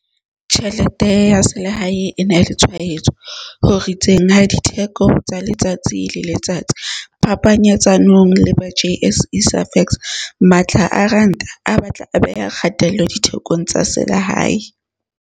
Tjhelete ya selehae e na le tshwaetso ho ritseng ha ditheko tsa letsatsi le letsatsi phapanyetsanong le ba JSE Safex. Matla a Ranta a batla a beha kgatello dithekong tsa selehae.